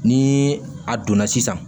Ni a donna sisan